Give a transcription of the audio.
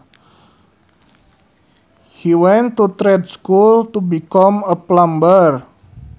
He went to trade school to become a plumber